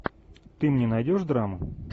ты мне найдешь драму